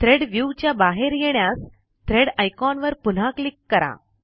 thread view च्या बाहेर येण्यास थ्रेड आयकॉन वर पुन्हा क्लिक करा